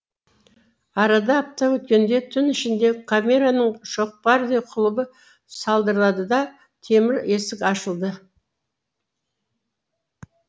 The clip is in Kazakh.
арада апта өткенде түн ішінде камераның шоқпардай құлыбы салдырлады да темір есік ашылды